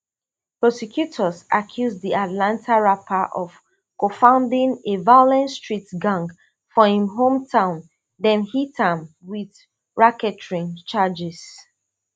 prosecutors accuse di atlanta rapper of cofounding a violent street gang for im hometown dem hit am with racketeering charges